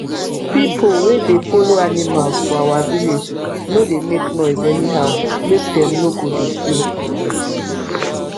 pipo wey dey follow animals for our village no dey make noise anyhow make dem no go dey fear